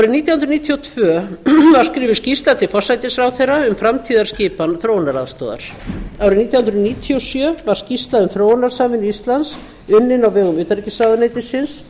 árið nítján hundruð níutíu og tvö var skrifuð skýrsla til forsætisráðherra um framtíðarskipan þróunaraðstoðar árið nítján hundruð níutíu og sjö var skýrsla um þróunarsamvinnu íslands unnin á vegum utanríkisráðuneytisins og